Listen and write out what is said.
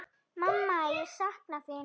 Mamma, ég sakna þín.